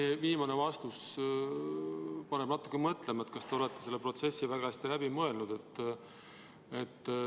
Teie viimane vastus paneb natuke mõtlema, et kas te olete selle protsessi ikka väga hästi läbi mõelnud.